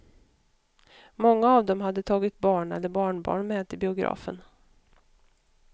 Många av dem hade tagit barn eller barnbarn med till biografen.